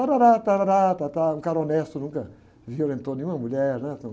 Tárárá tárárá tátá, um cara honesto, nunca violentou nenhuma mulher, né? Então